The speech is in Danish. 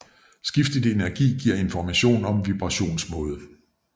Skiftet i energi giver information om vibrationsmåde